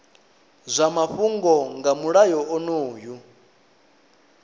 zwa mafhungo nga mulayo onoyu